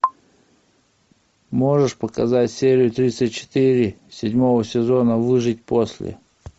можешь показать серию тридцать четыре седьмого сезона выжить после